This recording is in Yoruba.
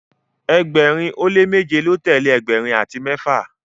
ẹgbẹrin o le meje lọ telee ẹgbẹrin ati mẹfa